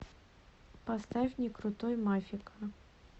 поставь не крутой мафика